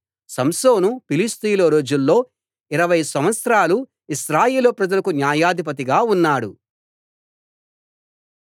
సంసోను ఫిలిష్తీయుల రోజుల్లో ఇరవై సంవత్సరాలు ఇశ్రాయేలు ప్రజలకు న్యాయాధిపతిగా ఉన్నాడు